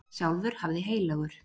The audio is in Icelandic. Sjálfur hafði heilagur